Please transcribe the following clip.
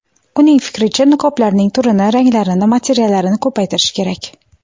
Uning fikricha, niqoblarning turini, ranglarini, materiallarini ko‘paytirish kerak.